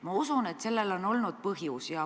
Ma usun, et sellel on olnud põhjus.